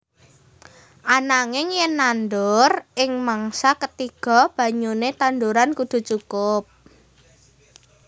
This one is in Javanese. Ananging yen nandur ing mangsa ketiga banyune tanduran kudu cukup